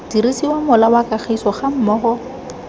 dirisiwa mola wa kemiso gammogo